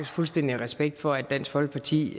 fuldstændig respekt for at dansk folkeparti